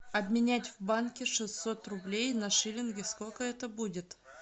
обменять в банке шестьсот рублей на шиллинги сколько это будет